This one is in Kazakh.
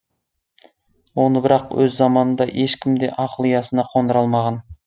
оны бірақ өз заманында ешкім де ақыл ұясына қондыра алмаған